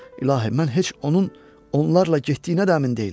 İlahi, mən heç onun onlarla getdiyinə də əmin deyiləm.